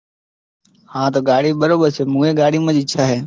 હા તો ગાડી બરોબર છે હું એ ગાડીમાં જ ઈચ્છા છે.